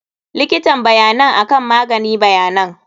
Likitan bayanan akan magani bayanan.